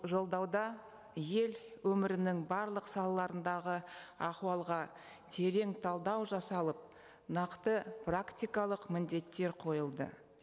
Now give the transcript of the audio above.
жолдауда ел өмірінің барлық салаларындағы ахуалға терең талдау жасалып нақты практикалық міндеттер қойылды